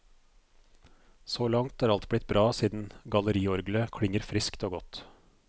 Så langt er alt blitt bra siden galleriorglet klinger friskt og godt.